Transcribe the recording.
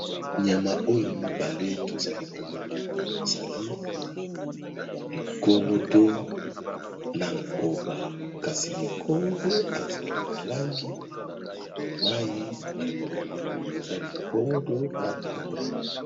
Nyama oyo mibale tozali komona ezali ligorodo na nkoba, kasi ligordo azali na langi ya mayi ya pondu eza ligordo na nkoba.